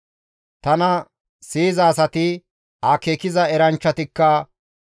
«Tana siyiza asati akeekiza eranchchatikka,